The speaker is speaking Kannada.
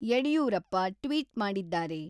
ಯಡಿಯೂರಪ್ಪ ಟ್ವಿಟ್ ಮಾಡಿದ್ದಾರೆ.